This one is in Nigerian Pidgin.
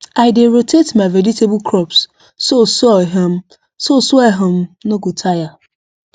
i dey rotate my vegetable crops so soil um so soil um no go tire